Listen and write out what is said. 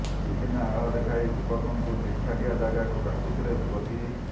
ବିଭିନ୍ନ ଆଳ ଦେଖାଇ ଯୁବକଙ୍କୁ ନିଛାଟିଆ ଜାଗାକୁ ଡାକୁଥିଲେ ଯୁବତୀ